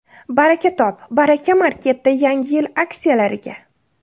Baraka top – Baraka Market’da Yangi yil aksiyalariga!.